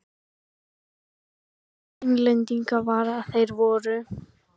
Vandinn við Englendinga var að þeir voru